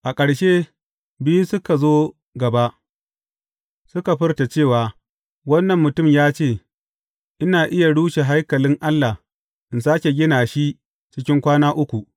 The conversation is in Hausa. A ƙarshe, biyu suka zo gaba, suka furta cewa, Wannan mutum ya ce, Ina iya rushe haikalin Allah, in sāke gina shi cikin kwana uku.’